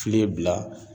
Fili bila